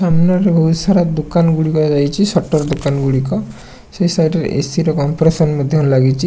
ସାମ୍ନାରେ ବୋହୁତ ସାରା ଦୋକାନ ଗୁଡିକ ହେଇଚି। ସଟର୍ ଦୋକାନ ଗୁଡିକ ସେଇ ସାଇଟ୍ ରେ ଏ_ସି ର କମ୍ପ୍ରେସନ୍ ମଧ୍ୟ ଲାଗିଚି।